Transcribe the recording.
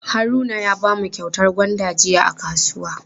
Haruna ya bamu kyautar gwanda jiya a kasuwa.